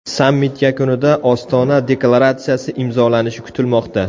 Sammit yakunida Ostona deklaratsiyasi imzolanishi kutilmoqda.